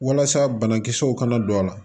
Walasa banakisɛw kana don a la